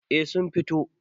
eh sun fito